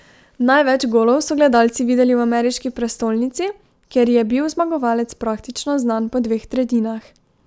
Največ golov so gledalci videli v ameriški prestolnici, kjer je bil zmagovalec praktično znan po dveh tretjinah.